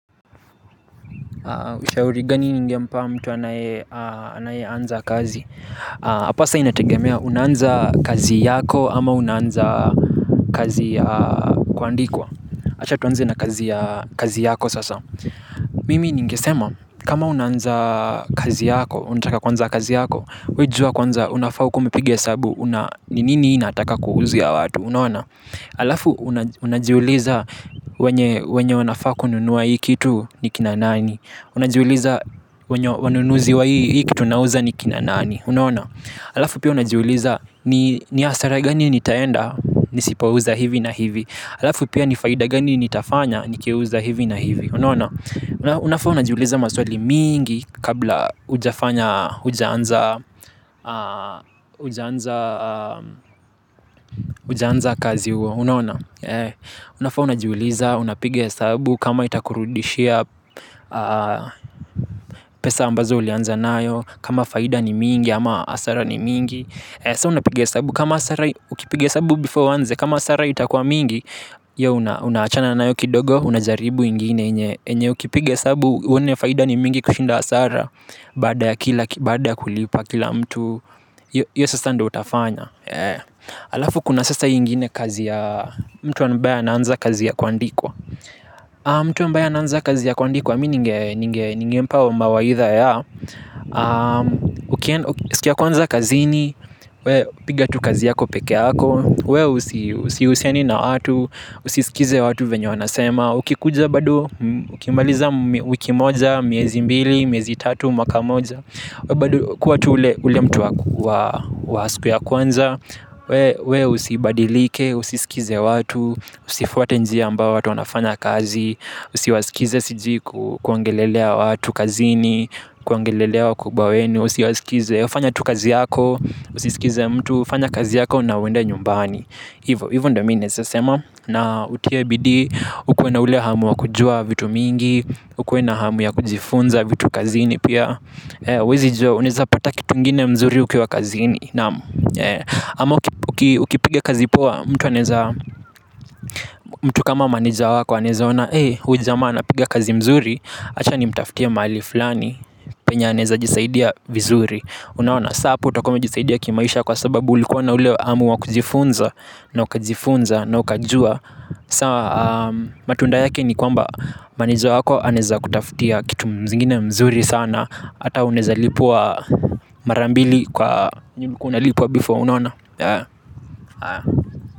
Ushauri gani ningempa mtu anaye anza kazi. Apa sa inategemea unanza kazi yako ama unanza kazi kuandikwa. Achatuanze na kazi yako sasa. Mimi ningesema kama unanza kazi yako unataka kwanza kazi yako. Wejua kwanza unafau kuwe umipigia sabu ni nini inataka kuhuzi ya watu alafu unajiuliza wenye wanafaa kununuwa hii kitu ni kina nani. Unajiuliza wanunuzi wa hii kitu nauza ni kinanani alafu pia unajuuliza ni asara gani nitaenda nisipouza hivi na hivi alafu pia nifaida gani nitafanya nikiuza hivi na hivi. Unafaa unajuuliza maswali mingi kabla ujafanya ujaanza kazi uwa. Unafu unajuuliza unapigas esabu kama itakurudishia pesa ambazo ulianza nayo. Kama faida ni mingi ama asara ni mingi. Sa unapige sabu. Kama asara ukipiga esabu before wanzi kama asara itakua mingi. Yo unachana nayo kidogo. Unajaribu ingine. Enye ukipige sabu. Uone faida ni mingi kushinda asara baada ya kulipa kila mtu iyo sasa ndo utafanya alafu kuna sasa ii ngine mtu ambaye anaanza kazi ya kuandikwa mtu ambaye anaanza kaza ya kuandikwa mi ningempa mawaidha ya siku ya kwanza kazini. We pigatu kazi yako peke yako. We usiuseni na watu. Usisikize watu venyo wanasema. Ukikuja badu ukimaliza wiki moja. Miezi mbili, miezi tatu, mwaka moja kwa tu ule mtu wasiku ya kwanza. We usibadilike. Usisikize watu. Usifuate njia ambao watu wanafana kazi. Usiwasikize siji kuongelelea watu kazini kuongelea wakubwa wenu kazini usiwasikilize we usiskize mtu fanya kazi yako na uende nyumbani ivo ndo mi naeza sema na utie bidii ukuwe na ile hamu ya kujua vitu mingi ikue na hamu ya kujifunza vitu kazini pia. Wezi joa uneza pata kitu ngine mzuri ukiwa kazini. Ama ukipige kazi poa. Mtu kama maneja wako aneza ona ee ujamana piga kazi mzuri achani mtaftia mali fulani penya aneza jisaidia vizuri unawana saa hapu utakome jisaidia kimaisha kwa sababu ulikuwa na uleo amu wakujifunza na ukajifunza na ukajua saa matunda yake ni kwamba maneja wako aneza kutafutia kitu mzingine mzuri sana ata uneza lipwa marambili kwa nyunu kunalipua bifo unawana.